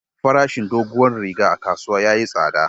Farashin doguwar riga a kasuwa yayi tsada.